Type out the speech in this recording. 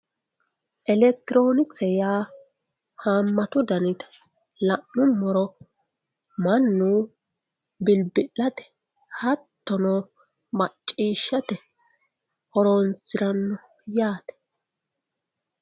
Elekitironkise yaa hamatu danite la'nuummoro mannu bilbilate hattono macciishshate horonsirano yaate.